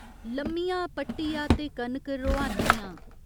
लम्मिया पट्टिया ते कनक रोहान्नी आं?